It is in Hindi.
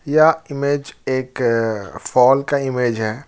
यह ईमेज एक फॉल का इमेज है।